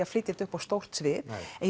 að flytja þetta upp á stórt svið en